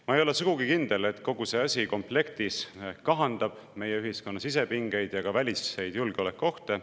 Ma ei ole sugugi kindel, et kogu see asi komplektis kahandab meie ühiskonna sisepingeid ja ka väliseid julgeolekuohte.